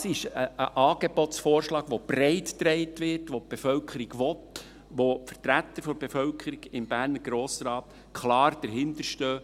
Das ist ein Angebotsvorschlag, der breit getragen wird, den die Bevölkerung will und hinter dem die Vertreter der Bevölkerung im Berner Grossen Rat klar stehen.